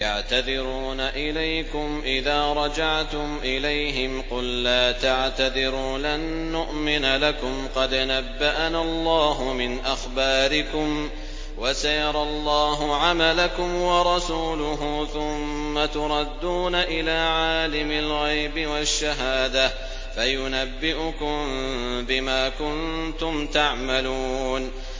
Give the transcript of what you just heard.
يَعْتَذِرُونَ إِلَيْكُمْ إِذَا رَجَعْتُمْ إِلَيْهِمْ ۚ قُل لَّا تَعْتَذِرُوا لَن نُّؤْمِنَ لَكُمْ قَدْ نَبَّأَنَا اللَّهُ مِنْ أَخْبَارِكُمْ ۚ وَسَيَرَى اللَّهُ عَمَلَكُمْ وَرَسُولُهُ ثُمَّ تُرَدُّونَ إِلَىٰ عَالِمِ الْغَيْبِ وَالشَّهَادَةِ فَيُنَبِّئُكُم بِمَا كُنتُمْ تَعْمَلُونَ